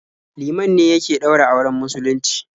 Liman ne yake ɗaura auren musulunci.